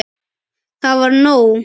Það var nóg.